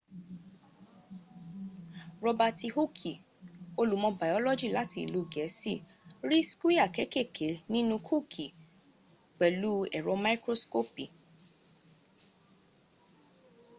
robaati hooki olùmọ̀ bayọ́lọ́jì láti ìlú gẹ̀ẹ́sì ri skwia kekeke ninu kooki pẹ̀lú ẹ̀rọ mikroskopi